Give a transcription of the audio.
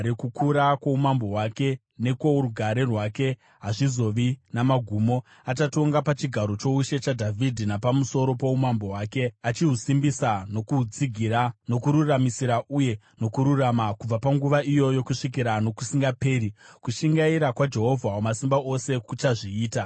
Kukura kwoumambo hwake nekworugare rwake hazvizovi namagumo. Achatonga pachigaro choushe chaDhavhidhi napamusoro poumambo hwake, achihusimbisa nokuhutsigira, nokururamisira uye nokururama, kubva panguva iyoyo kusvikira nokusingaperi. Kushingaira kwaJehovha Wamasimba Ose kuchazviita.